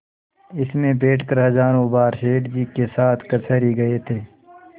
इसमें बैठकर हजारों बार सेठ जी के साथ कचहरी गये थे